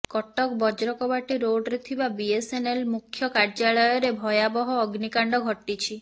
କଟକ ବଜ୍ରକବାଟୀ ରୋଡରେ ଥିବା ବିଏସ୍ଏନ୍ଏଲ୍ ମୁଖ୍ୟ କାର୍ଯ୍ୟାଳୟରେ ଭୟାବହ ଅଗ୍ନିକାଣ୍ଡ ଘଟିଛି